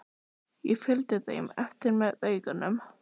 Ég fylgdi þeim eftir með augunum.